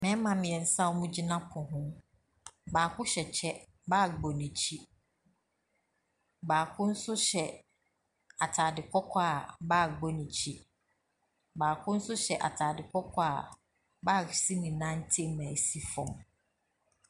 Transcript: Mmarima mmeɛnsa a wɔgyina hɔnom baako hyɛ kyɛ, bag bɔ n'akyi. Baako nso hyɛ atade kɔkɔɔ a bag bɔ n'akyi. Baako nso hyɛ atade kɔkɔɔ a bag hyɛ ne nan ntam na ɛsi fam.